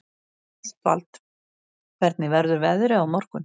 Ástvald, hvernig verður veðrið á morgun?